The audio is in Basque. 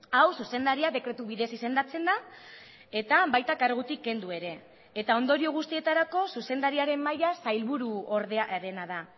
hau zuzendaria dekretu bidez izendatzen da eta baita kargutik kendu ere eta ondorio guztietarako zuzendariaren maila sailburuordearena da